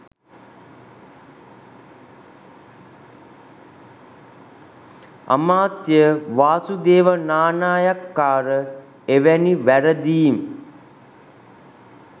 අමාත්‍ය වාසුදේව නානායක්කාර එවැනි වැරදීම්